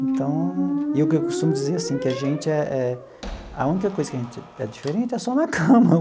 Então... E o que eu costumo dizer, assim, que a gente é é... A única coisa que a gente é diferente é só na cama.